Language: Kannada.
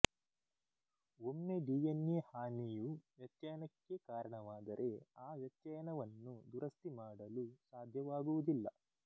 ಒಮ್ಮೆ ಡಿಎನ್ಎ ಹಾನಿಯು ವ್ಯತ್ಯಯನಕ್ಕೆ ಕಾರಣವಾದರೆ ಆ ವ್ಯತ್ಯಯನವನ್ನು ದುರಸ್ತಿ ಮಾಡಲು ಸಾಧ್ಯವಾಗುವುದಿಲ್ಲ